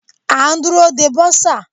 A ń dúró de bursar.